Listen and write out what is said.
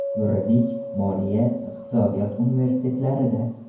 Yuridik, Moliya, Iqtisodiyot universitetlarida.